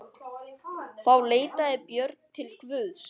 Þá leitaði Björn til Guðs.